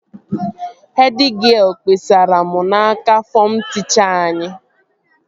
Hed gịel kpesara m n'aka fọm tịchaa anyị